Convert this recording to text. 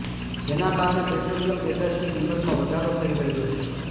જેના કારણે પેટ્રોલિયમ પેદાશની કિંમતમાં વધારો થઈ રહ્યો છે